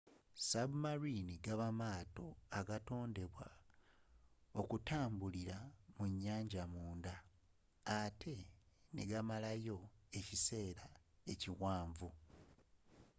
submarines gaba maato agatondebwa okutambilira mu nyaanja munda atte negasigalayo okumala ekiseera ekiwanvu